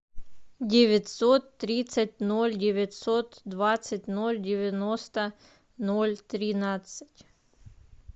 девятьсот тридцать ноль девятьсот двадцать ноль девяносто ноль тринадцать